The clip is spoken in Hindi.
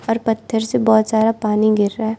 और पत्थर से बहोत सारा पानी गिर रहा --